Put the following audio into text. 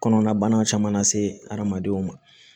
Kɔnɔnabana caman lase adamadenw ma